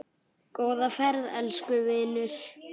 Góða ferð, elsku vinur.